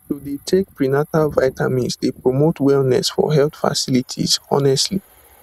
to dey take prenatal vitamins dey promote wellness for health facilities honestly